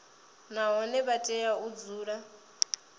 nahone vha tea u dzula